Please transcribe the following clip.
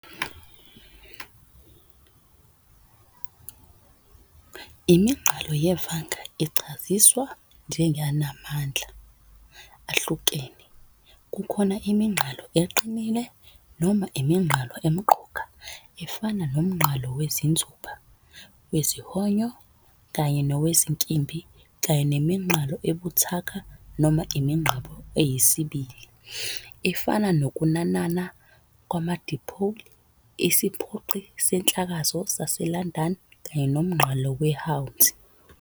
Iminqalo yevanga ichaziswa njengenamandla ahlukene- kukhona "iminqalo eqinile" noma "iminqalo emqoka" efana nomnqalo wezinzuba, wezihonyo kanye nowezinkimbi, kanye "neminqalo ebuthaka" noma "iminqalo eyisibili" efana nokunanana kwama-dipole, isiphoqi senhlakazo sase-London., kanye nomnqalo weHwanzi.